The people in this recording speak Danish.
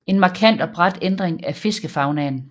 En markant og brat ændring af fiskefaunaen